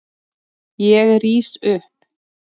Ég rís upp.